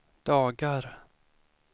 dagar